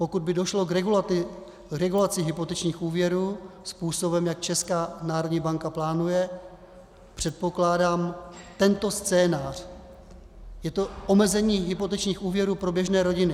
Pokud by došlo k regulaci hypotečních úvěrů způsobem, jak Česká národní banka plánuje, předpokládám tento scénář: Je to omezení hypotečních úvěrů pro běžné rodiny.